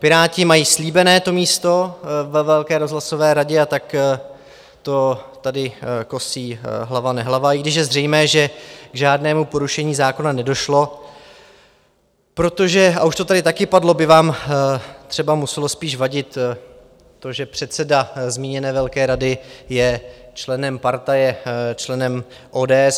Piráti mají slíbené to místo ve velké rozhlasové radě, a tak to tady kosí hlava nehlava, i když je zřejmé, že k žádnému porušení zákona nedošlo, protože - a už to tady taky padlo - by vám třeba muselo spíš vadit to, že předseda zmíněné velké rady je členem partaje, členem ODS.